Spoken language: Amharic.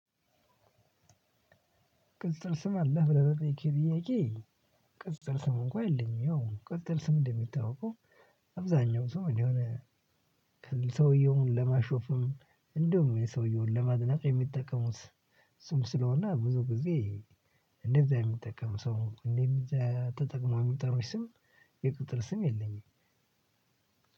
ቅጽል ስም አለህ ብለህ ለጠየከኝ ጥያቄ? ቅጽል ስም እንኳን የለኝም። ያው ቅጽል ስም እንደሚታወቀው። አብዛኛው ሰው የሆነ ሰውየውን ለማሾፍም እንደውም የሰውየውን ለማግናት የሚጠቀሙት። ስም ስለሆነ ብዙ ጊዜ። እንደዛ የሚጠቀሙ ሰው እንደዚህ ተጠቅሞ የሚጠሩ ስም የቅጽል ስም የለኝም።